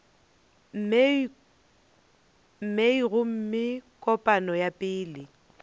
mei gomme kopano ya pele